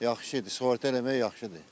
Yaxşıdır, sığorta eləmək yaxşıdır.